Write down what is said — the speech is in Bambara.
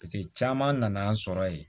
caman nana an sɔrɔ yen